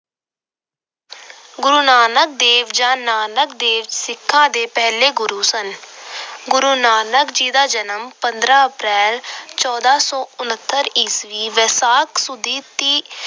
ਗੁਰੂ ਨਾਨਕ ਦੇਵ ਜਾਂ ਨਾਨਕ ਦੇਵ ਸਿੱਖਾਂ ਦੇ ਪਹਿਲੇ ਗੁਰੂ ਸਨ। ਗੁਰੂ ਨਾਨਕ ਜੀ ਦਾ ਜਨਮ ਪੰਦਰਾ April, ਚੌਦਾਂ ਸੌ ਉਨਤਰ ਈਸਵੀ ਵਿਸਾਖ ਸੁਦੀ ਤੀਹ